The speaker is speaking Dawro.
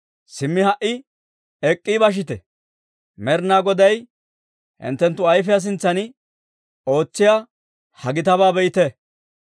«Simmi ha"i ek'k'i bashite; Med'inaa Goday hinttenttu ayfiyaa sintsan ootsiyaa ha gitabaa be'ite!